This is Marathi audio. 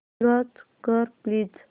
लॉंच कर प्लीज